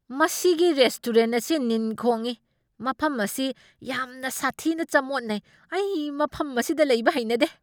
ꯃꯁꯤꯒꯤ ꯔꯦꯁꯇꯣꯔꯦꯟꯠ ꯑꯁꯤ ꯅꯤꯟꯈꯣꯡꯏ, ꯃꯐꯝ ꯑꯁꯤ ꯌꯥꯝꯅ ꯁꯥꯊꯤꯅ ꯆꯃꯣꯠꯅꯩ, ꯑꯩ ꯃꯐꯝ ꯑꯁꯤꯗ ꯂꯩꯕ ꯍꯩꯅꯗꯦ꯫